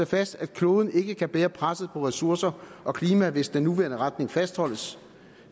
fast at kloden ikke kan bære presset på ressourcer og klima hvis den nuværende retning fastholdes